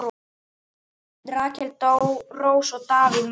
Rakel Rós og Davíð Már.